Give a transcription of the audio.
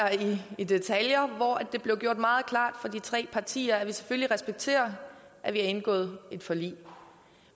det i detaljer blev gjort meget klart fra de tre partiers side at vi selvfølgelig respekterer at vi har indgået et forlig